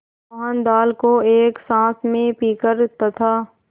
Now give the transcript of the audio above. मोहन दाल को एक साँस में पीकर तथा